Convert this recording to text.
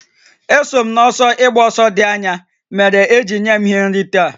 Eso m n'ọsọ ịgba ọsọ dị anya mere e ji nye m ihe nrite a